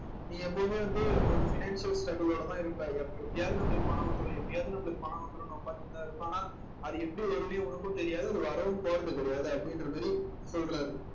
நீங்க எப்பவுமே வந்து ஒரு financial struggle ஓடதான் இருப்ப எப் எப்படியாவது நம்மளுக்கு பணம் வந்துரும் எப்படியாவது நம்மளுக்கு பணம் வந்துரும்ன்னு உட்கார்ந்துட்டுதான் இருப்ப ஆன அது எப்படி வரும்ன்னே உனக்கும் தெரியாது அது வரவும் போறது கிடையாது அப்படின்ற மாதிரி சொல்றாரு